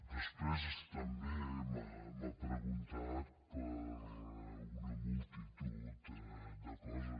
després també m’ha preguntat per una multitud de coses